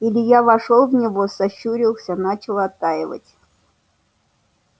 илья вошёл в него сощурился начал оттаивать